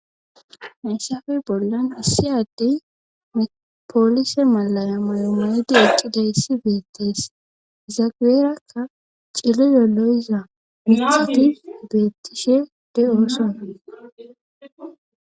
Hayssafe bollan assi addey mepoolise malaya moyomedi eqqidayssi beettees zageerakka ciride lo7iza mixati beettishe de7ooso.